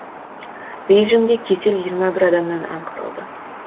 бейжіңде кесел жиырма бір адамнан анықталды